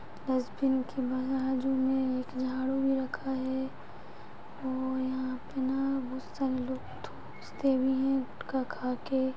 Dustbin की बाजु में एक झाड़ू भी रखा है और यहाँ पे न बहुत सारे लोग थूकते भी है गुटका खा के।